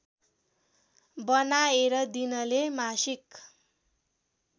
बनाएर दिनले मासिक